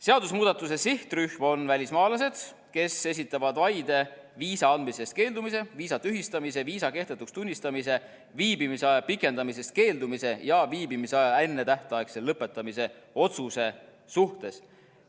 Seadusemuudatuse sihtrühm on välismaalased, kes esitavad vaide viisa andmisest keeldumise, viisa tühistamise, viisa kehtetuks tunnistamise, viibimisaja pikendamisest keeldumise ja viibimisaja ennetähtaegse lõpetamise otsuse suhtes.